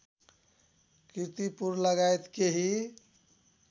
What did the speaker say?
कीर्तिपुर लगायत केही